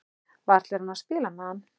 Varla er hún að spila með hann?